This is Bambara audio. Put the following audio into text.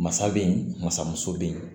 Masa be yen masamuso be yen